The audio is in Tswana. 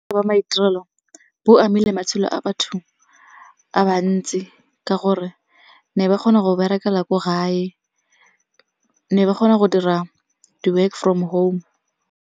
A ba maitirelo bo amile matshelo a batho a bantsi ka gore ne ba kgona go berekela ko gae, ne ba kgona go dira di-work from home.